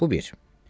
Bu bir.